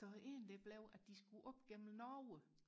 så en det blev at de skulle op gennem Norge